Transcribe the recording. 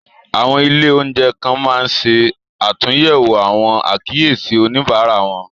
Àwọn ilé-oúnjẹ kan máa n se àtúnyẹwò àwọn àkíyèsí oníbárà wọn.